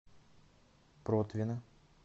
протвино